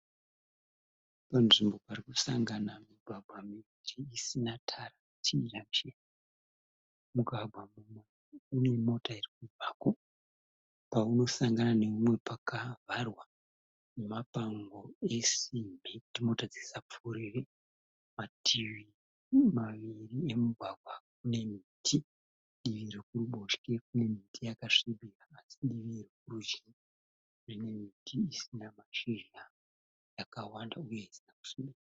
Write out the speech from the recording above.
Panzvimbo parikusangana migwagwa miviri isina tara, tiijangisheni. Mugwagwa mumwe unemota irikubvako paunosangana neumwe pakavharwa nemapango esimbi kuti mota dzisapfuurire. Mativi maviri emigwagwa anemiti. Divi rokuruboshwe rinemiti yakasvibira asi divi rokurudyi rinemiti isina kuchena, yakawanda uye isina kusviba.